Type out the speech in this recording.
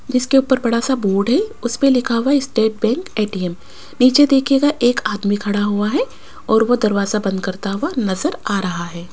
जिसके ऊपर बड़ा सा बोर्ड है उसेपे लिखा हुआ स्टेट बैंक ए_टी_एम नीचे देखियेगा एक आदमी खड़ा हुआ है और वो दरवाजा बंद करता हुआ नजर आ रहा है।